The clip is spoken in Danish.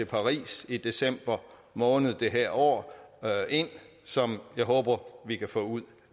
paris i december måned det her år ind som jeg håber vi kan få ud